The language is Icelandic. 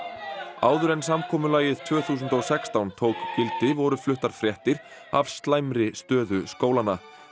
áður en samkomulagið tvö þúsund og sextán tók gildi voru fluttar fréttir af slæmri stöðu skólanna